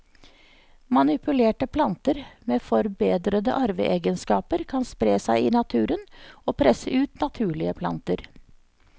Manipulerte planter med forbedrede arveegenskaper kan spre seg i naturen og presse ut naturlige planter.